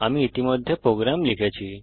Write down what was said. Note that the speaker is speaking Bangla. আমি ইতিমধ্যে প্রোগ্রাম লিখেছি